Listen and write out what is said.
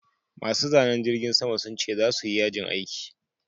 Masu zanen jirgin sama sun ce za suyi yajin aiki